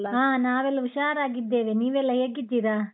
ಹಾ ನಾವೆಲ್ಲ ಹುಷಾರಾಗಿದ್ದೇವೆ, ನೀವೆಲ್ಲ ಹೇಗಿದ್ದೀರಾ?